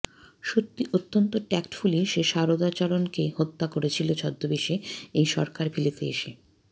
সত্যি অত্যন্ত ট্যাক্টফুলি সে সারদাচরণকে হত্যা করেছিল ছদ্মবেশে এই সরকার ভিলাতে এসে